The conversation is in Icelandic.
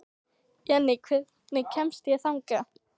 Jenni, hvernig kemst ég þangað?